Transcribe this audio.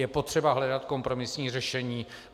Je potřeba hledat kompromisní řešení.